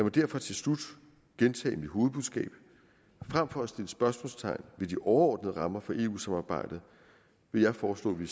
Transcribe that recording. derfor til slut gentage mit hovedbudskab frem for at sætte spørgsmålstegn ved de overordnede rammer for eu samarbejdet vil jeg foreslå at vi